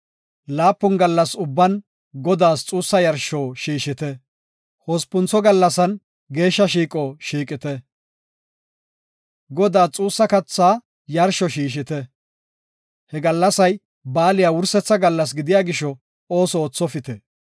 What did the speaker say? Laapun gallas ubban Godaas xuussa yarsho shiishite; hospuntho gallasan geeshsha shiiqo shiiqite. Godaas xuussa katha yarsho shiishite. He gallasay baaliya wursetha gallas gidiya gisho, ooso oothopite.